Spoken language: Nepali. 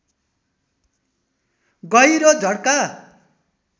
गहिरो झट्का